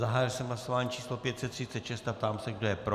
Zahájil jsem hlasování číslo 536 a ptám se, kdo je pro.